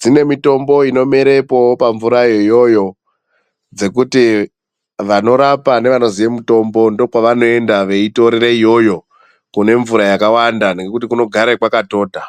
Dzine mitombo inomerepowo pamvurayo iyoyo dzekuti vanorapa nevanozive mutombo ndokwavanoenda veitorera iyoyo kune mvura yakawanda nekuti kunogare kwakatota.